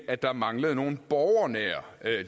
at der manglede nogle borgernære